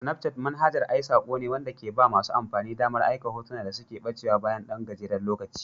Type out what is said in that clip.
Snapchat manhajar ai sako ne wanda ke ba masu amfani damar aika hotuna da suke ɓacewa bayan ɗan gajeren lokaci.